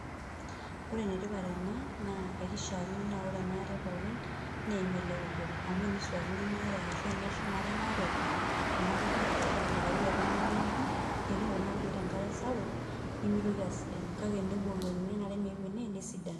Ore enetipat tena, naa ekishaakino naa ore enaare pookin, neim ele keju obo. Amu enisuakino enaare ashu eneshumare enaare kuna kujit, nelelek ayu oltung'ani, eneok kuna kujit enkare sapuk, nimitoki asidanu. Kake tenebukokini enaare meeu ene, nesidanu.